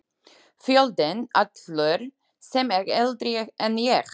Fjöldinn allur sem er eldri en ég.